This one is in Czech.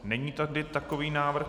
Není tady takový návrh.